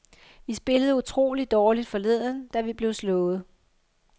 Vi spillede utrolig dårligt forleden, da vi blev slået.